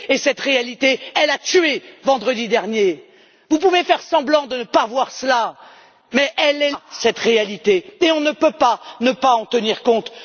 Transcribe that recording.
Cette réalité a tué vendredi dernier. Vous pouvez faire semblant de ne pas voir cela, mais cette réalité est là et on ne peut pas ne pas en tenir compte.